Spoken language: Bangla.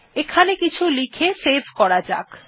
এখানে কিছু লিখে সেভ করা যাক